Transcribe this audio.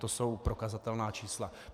To jsou prokazatelná čísla.